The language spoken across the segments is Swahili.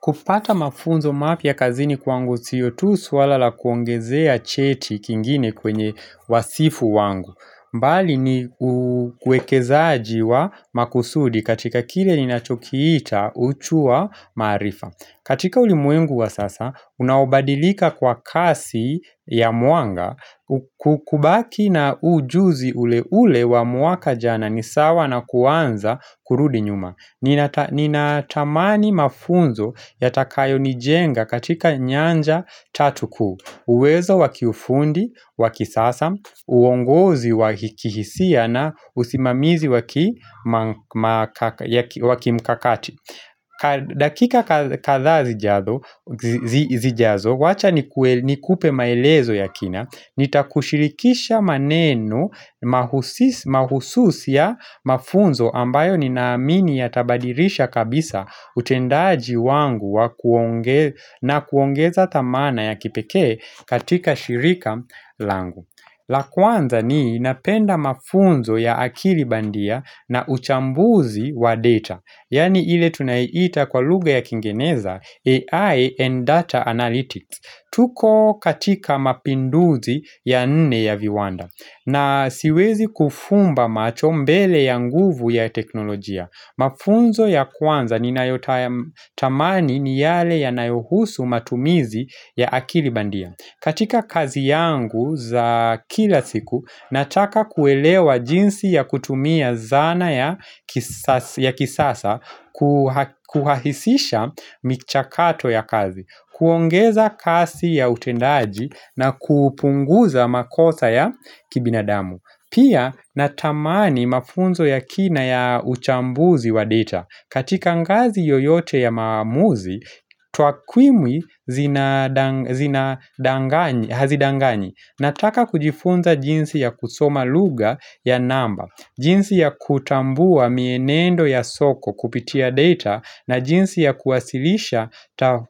Kupata mafunzo mapya kazini kwangu siyo tu swala la kuongezea cheti kingine kwenye wasifu wangu. Bali ni uwekezaji wa makusudi katika kile ninachokiita uchu wa maarifa. Katika ulimwengu wa sasa, unaobadilika kwa kasi ya mwanga, kubaki na ujuzi ule ule wa mwaka jana ni sawa na kuanza kurudi nyuma. Ninatamani mafunzo yatakayonijenga katika nyanja tatu kuu uwezo wa kiufundi, wa kisasa, uongozi wa kihisia na usimamizi wa kimkakati dakika kadhaa zijazo, wacha nikupe maelezo ya kina Nitakushirikisha maneno mahususi ya mafunzo ambayo ninaamini yatabadirisha kabisa utendaji wangu na kuongeza thamana ya kipekee katika shirika langu la kwanza ni napenda mafunzo ya akili bandia na uchambuzi wa data Yaani ile tunaiita kwa lugha ya kiingereza AI and data Analytics tuko katika mapinduzi ya nne ya viwanda na siwezi kufumba macho mbele ya nguvu ya teknolojia. Mafunzo ya kwanza ninayotamani ni yale yanayohusu matumizi ya akili bandia. Katika kazi yangu za kila siku, nataka kuelewa jinsi ya kutumia zana ya kisasa kuhahisisha michakato ya kazi. Kuongeza kasi ya utendaji na kupunguza makosa ya kibinadamu Pia natamani mafunzo ya kina ya uchambuzi wa data katika ngazi yoyote ya maamuzi, twakwimwi hazidanganyi Nataka kujifunza jinsi ya kusoma lugha ya namba jinsi ya kutambua mienendo ya soko kupitia data na jinsi ya kuwasilisha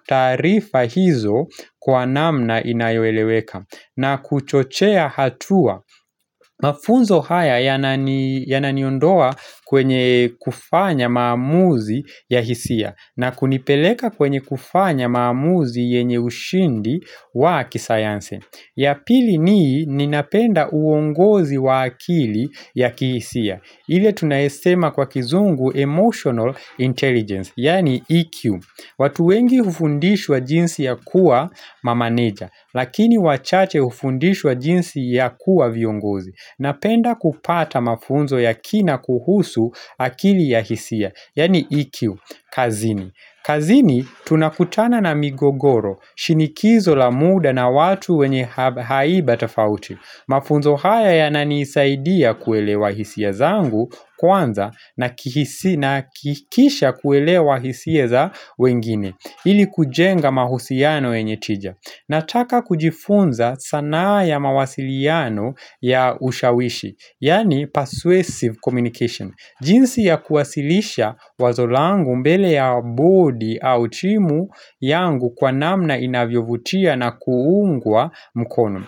taarifa hizo kwa namna inayoeleweka na kuchochea hatua mafunzo haya yananiondoa kwenye kufanya maamuzi ya hisia na kunipeleka kwenye kufanya maamuzi yenye ushindi wa kisayansi ya pili nii ni ninapenda uongozi wa akili ya kihisia ile tunasema kwa kizungu emotional intelligence Yaani EQ watu wengi hufundishwa jinsi ya kuwa mameneja Lakini wachache hufundishwa jinsi ya kuwa viongozi Napenda kupata mafunzo ya kina kuhusu akili ya hisia Yaani EQ kazini kazini tunakutana na migogoro shinikizo la muda na watu wenye haiba tafauti Mafunzo haya yananisaidia kuelewa hisia zangu kwanza na kisha kuelewa hisia za wengine ili kujenga mahusiano yenye tija Nataka kujifunza sanaa ya mawasiliano ya ushawishi Yaani persuasive communication jinsi ya kuwasilisha wazo langu mbele ya board au timu yangu kwa namna inavyovutia na kuungwa mukono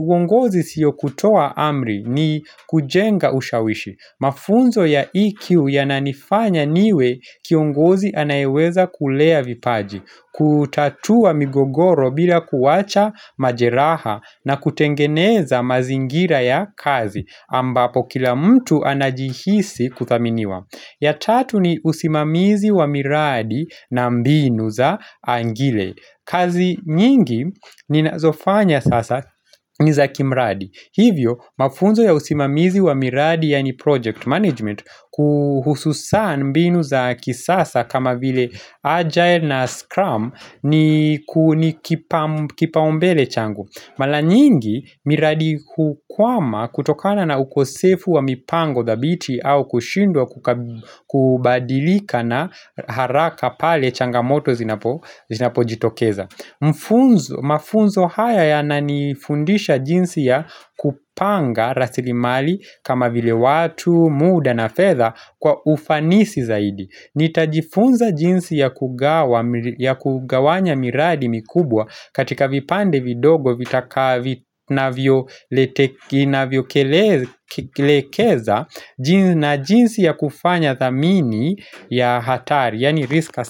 uongozi siyo kutoa amri ni kujenga ushawishi Mafunzo ya EQ ya yananifanya niwe kiongozi anayeweza kulea vipaji kutatua migogoro bila kuwacha majeraha na kutengeneza mazingira ya kazi ambapo kila mtu anajihisi kuthaminiwa ya tatu ni usimamizi wa miradi na mbinu za angile kazi nyingi ninazofanya sasa ni za kimradi Hivyo mafunzo ya usimamizi wa miradi yaani project management kwa hususan mbinu za kisasa kama vile agile na scrum ni kipaumbele changu Mara nyingi miradi hukwama kutokana na ukosefu wa mipango thabiti au kushindwa kubadilika na haraka pale changamoto zinapojitokeza Mafunzo haya yananifundisha jinsi ya kupanga rasilimali kama vile watu, muda na fedha kwa ufanisi zaidi Nitajifunza jinsi ya kugawanya miradi mikubwa katika vipande vidogo vitakavyokelekeza na jinsi ya kufanya thamini ya hatari, yaani risk assessment.